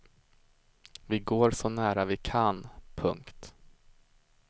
Vi går så nära vi kan. punkt